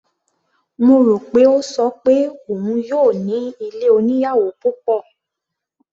Mo rò pé ó ṣọ pé òun yóò ní ilé oníyàwò púpọ̀.